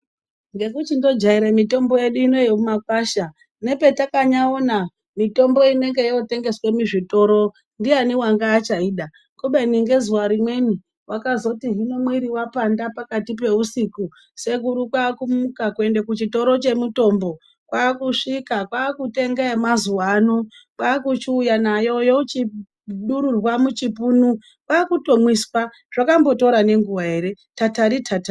Ngekuchindojaire mitombo yedu yemumakwasha nepetakanyaona mitombo inotengeswe muzvitoro ndiani wanga achaida wakazoti hino mwiri wapanda pakati peusiku, sekuru kwakumuka kuenda kuchikoro chemutombo kwakusvika kwakutenga yemazuwa ano kwakuchiuya nayo yochidururwa muchipunu, zvakambotora nenguwa ere tatari tatari.